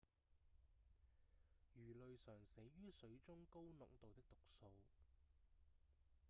魚類常死於水中高濃度的毒素